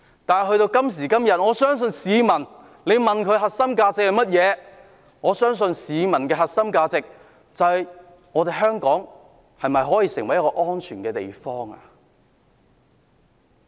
但是，到了今天，如果問市民香港的核心價值是甚麼，市民可能會說希望香港成為一個安全的地方。